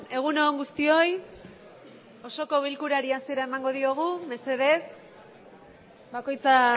egun on guztioi osoko bilkurari hasiera emango diogu mesedez bakoitza